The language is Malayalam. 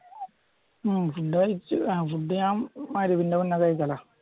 ഉം ഫുഡ് കഴിച്ചു പിന്നെ കഴിക്കാലോ